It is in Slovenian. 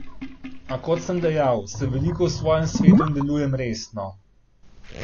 A kot sem dejal, sem veliko v svojem svetu in delujem resno.